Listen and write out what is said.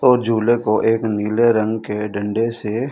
और झूले को एक नीले रंग के डंडे से--